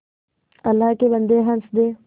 अल्लाह के बन्दे हंस दे